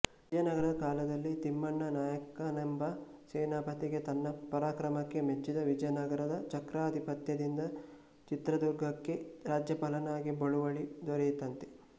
ವಿಜಯನಗರದ ಕಾಲದಲ್ಲಿ ತಿಮ್ಮಣ್ಣ ನಾಯಕನೆಂಬ ಸೇನಾಪತಿಗೆ ತನ್ನ ಪರಾಕ್ರಮಕ್ಕೆ ಮೆಚ್ಚಿದ ವಿಜಯನಗರದ ಚಕ್ರಾಧಿಪತ್ಯದಿಂದ ಚಿತ್ರದುರ್ಗಕ್ಕೆ ರಾಜ್ಯಪಾಲನಾಗಿ ಬಳುವಳಿ ದೊರೆಯಿತಂತೆ